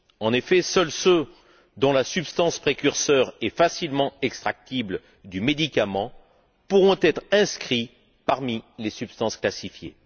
En effet, seuls ceux dont la substance précurseur est facilement extractible du médicament pourront être inscrits parmi les substances classifiées.